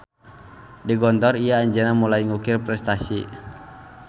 Di Gontor ieu anjeunna mulai ngukir prestasi.